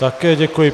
Také děkuji.